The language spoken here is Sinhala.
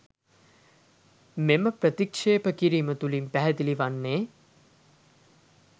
මෙම ප්‍රතික්‍ෂේප කිරීම තුළින් පැහැදිලි වන්නේ